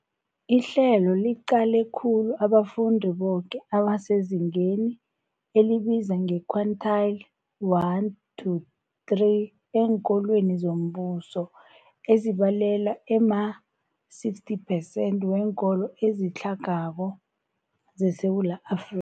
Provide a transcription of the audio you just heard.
Ihlelo liqale khulu abafundi boke abasezingeni elibizwa nge-quintile 1-3 eenkolweni zombuso, ezibalelwa ema-60 phesenthi weenkolo ezitlhagako zeSewula Afri